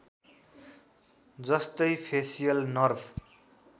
जस्तै facial nerve